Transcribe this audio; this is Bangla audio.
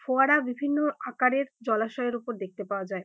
ফোয়ারা বিভিন্ন আকারের জলাশয়ের অপর দেখতে পাওয়া যায়।